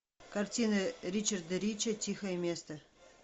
картина ричарда рича тихое место